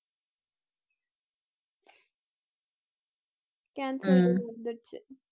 cancel ன்னு வந்துருச்சு